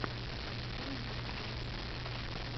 анфайни на ютьюбе